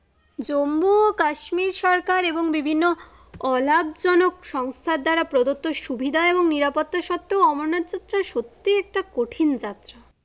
জম্বু ও কাশ্মীর সরকার এবং বিভিন্ন অলাভজনক সংস্থা দ্বারা প্রদত্ত সুবিধা এবং নিরাপত্তা সত্ত্বেও অমরনাথযাত্রা সত্যি একটা কঠিন যাত্রা।